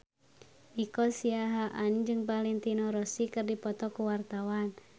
Nico Siahaan jeung Valentino Rossi keur dipoto ku wartawan